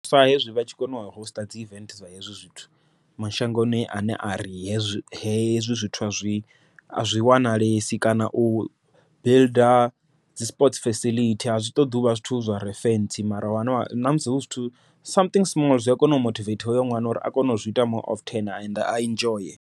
Sa hezwi vha tshi kona u host dzi event dza hezwi zwithu, mashangoni a ne a ri hezwi hezwi zwithu a zwi a zwi wanalesi kana u builder dzi sport fisiḽithi a zwi ṱoḓi uvha zwithu zware fentsi mara namusi hu zwithu something small zwi a kona u mothivetha hoyo ṅwana uri a kone u zwi ita more often ende a enjoy.